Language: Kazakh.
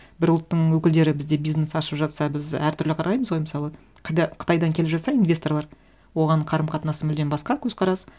бір ұлттың өкілдері бізде бизнес ашып жатса біз әртүрлі қараймыз ғой мысалы қытайдан келе жатса инвесторлар оған қарым қатынасы мүлдем басқа көзқарас